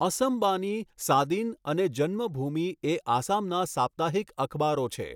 અસમ બાની', 'સાદીન' અને 'જન્મભૂમિ' એ આસામના સાપ્તાહિક અખબારો છે.